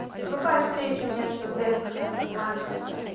врубай встречу между вест хэм и манчестер